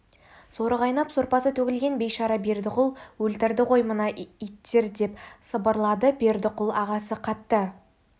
соры қайнап сорпасы төгілген бейшара бердіқұл өлтірді ғой мені мына иттер деп сыбырлады бердіқұл ағасы қатты